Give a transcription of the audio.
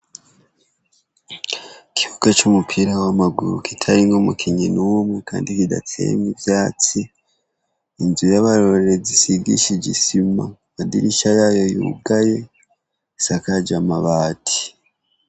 Ikibuga c'umupira w'amaguru kitarimwo umukinyi n'umwe, kandi kidateyemwo ivyatsi. Inzu y'abarorerezi isigishije isima, amadirisha yayo yugaye, isakaje amabati.